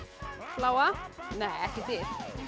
bláa nei ekki þið